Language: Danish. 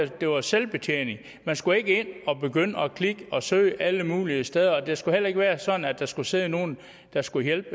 det var selvbetjening man skulle ikke ind og begynde at klikke og søge alle mulige steder og det skulle heller ikke være sådan at der skulle sidde nogle der skulle hjælpe